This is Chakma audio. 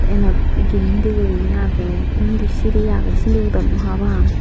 eynot girindi gurine age undi siri age sindi udonnoi pa pang.